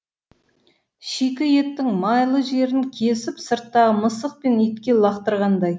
шикі еттің майлы жерін кесіп сырттағы мысық пен итке лақтырғандай